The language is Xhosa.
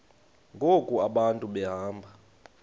ngoku abantu behamba